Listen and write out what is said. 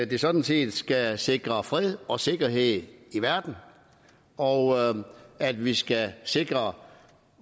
det sådan set skal sikre fred og sikkerhed i verden og at vi skal sikre